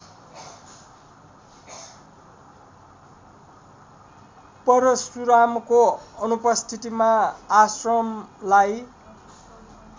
परशुरामको अनुपस्थितिमा आश्रमलाई